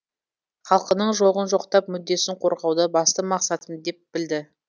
халқының жоғын жоқтап мүддесін қорғауды басты мақсатым деп білді